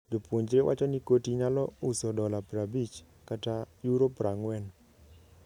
Jopuonjre wacho ni koti nyalo uso dola prabich kata euro prang`wen.